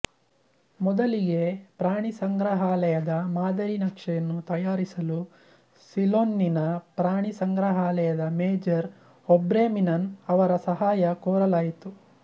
ಮೊದಲಿಗೆ ಪ್ರಾಣಿಸಂಗ್ರಹಾಲಯದ ಮಾದರಿ ನಕ್ಷೆಯನ್ನು ತಯಾರಿಸಲು ಸಿಲೋನ್ನಿನ ಪ್ರಾಣಿ ಸಂಗ್ರಹಾಲದ ಮೇಜರ್ ಔಬ್ರೆ ವೀನ್ಮನ್ ಅವರ ಸಹಾಯ ಕೋರಲಾಯಿತು